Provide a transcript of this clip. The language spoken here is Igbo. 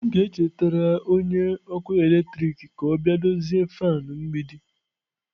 M ga-echetara onye ọkụ eletrik ka ọ bịa dozie fan mgbidi.